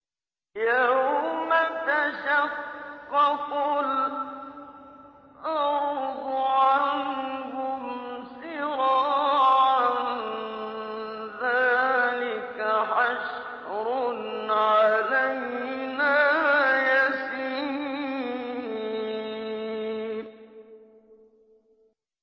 يَوْمَ تَشَقَّقُ الْأَرْضُ عَنْهُمْ سِرَاعًا ۚ ذَٰلِكَ حَشْرٌ عَلَيْنَا يَسِيرٌ